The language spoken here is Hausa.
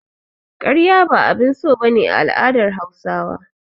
Karya ba abin so ba ne a al'adar Hausawa.